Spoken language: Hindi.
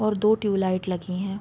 और दो ट्यूब लाइट लगी हैं।